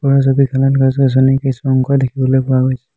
ওপৰৰ ছবিখনত গছ গছনিৰ কিছু অংশ দেখিবলৈ পোৱা গৈছে।